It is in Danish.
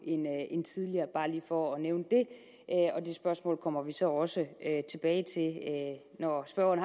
end tidligere bare lige for at nævne det det spørgsmål kommer vi så også tilbage til når spørgeren